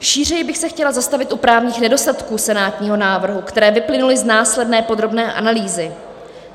Šířeji bych se chtěla zastavit u právních nedostatků senátního návrhu, které vyplynuly z následné podrobné analýzy.